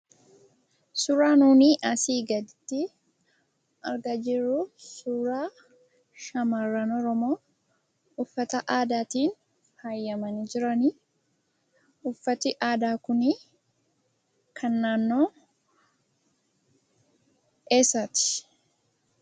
Suuraa nunii asii gaditti argaa jirru suuraa shamarran Oromoo uffata aadaatiin faayamanii jiranii. Uffati aadaa kunii kan naannoo eessaati?